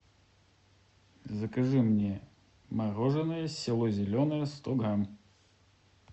закажи мне мороженое село зеленое сто грамм